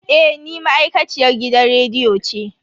Eh ni ma'aikaciyar gidan rediyo ce.